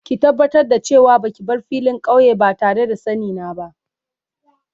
Ki tabatar da ce wa ba ki bar filin kauye ba tare da sanni na ba.